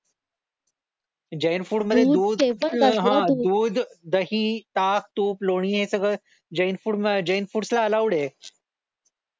Jain food मध्ये दूध हा दूध, दही, ताक, तूप, लोणी हे सगळं जैन फूड जैन फुड्स ला अलाऊड आहे.